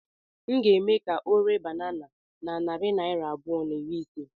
M ga-eme ka ọ ree banana na narị naira abụọ na iri ise